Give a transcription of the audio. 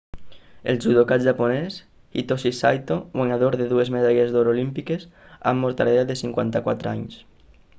el judoka japonès hitoshi saito guanyador de dues medalles d'or olímpiques ha mort a l'edat de 54 anys